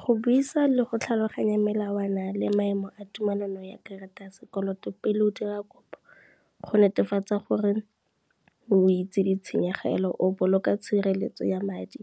Go buisa le go tlhaloganya melawana le maemo a tumelano ya karata ya sekoloto pele o dira kopo, go netefatsa gore o itse ditshenyegelo, o boloka tshireletso ya madi,